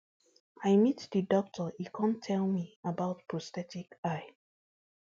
i meet di doctor e kon tell me about prosthetic eye